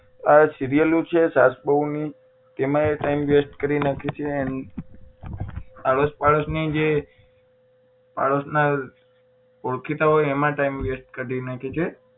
આ સીરિયલો છે સાસ બહુ ની તેમાં એ time waste કરી નાખે છે and આડોસ પાડોસ ની જે પાડોસ ના જે ઓળખીતા હોય એમાં એ time waste કરી નાખે છે